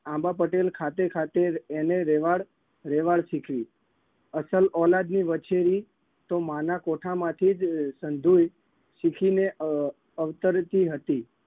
આંબા પટેલ ખાતે ખાતે એને રેવાડ રેવાડ શીખવી. અસલ ઓલાદની વછેરી તો માના કોઠામાંથી જ સંધી શીખીને અમ અવતરતી હતી.